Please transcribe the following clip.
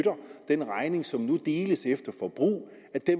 den regning som nu deles efter forbrug